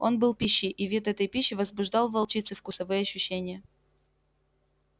он был пищей и вид этой пищи возбуждал в волчице вкусовые ощущения